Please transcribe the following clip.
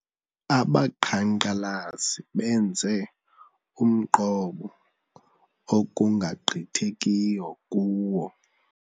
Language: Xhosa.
Abaqhankqalazi benze umqobo ekungagqithekiyo kuwo.